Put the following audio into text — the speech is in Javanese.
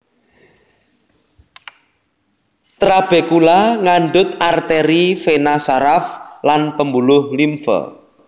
Trabekula ngandhut artèri véna saraf lan pembuluh limfe